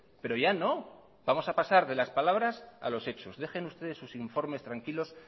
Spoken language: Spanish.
pero ya no vamos a pasar de las palabras a los hechos dejen ustedes sus informes tranquilos